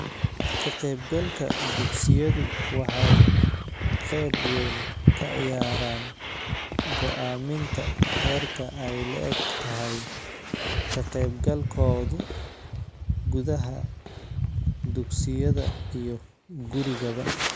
Ka-qaybgalka dugsiyadu waxay qayb weyn ka ciyaaraan go'aaminta heerka ay le'eg tahay ka-qaybgalkooda gudaha dugsiyada iyo gurigaba.